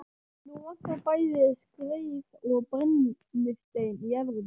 Nú vantar bæði skreið og brennistein í Evrópu.